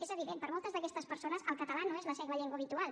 és evident per a moltes d’aquestes persones el català no és la seva llengua habitual